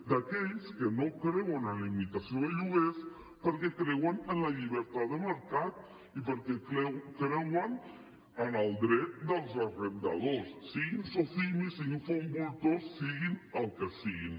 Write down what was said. d’aquells que no creuen en la limitació de lloguers perquè creuen en la llibertat de mercat i perquè creuen en el dret dels arrendadors siguin socimi siguin fons voltor siguin el que siguin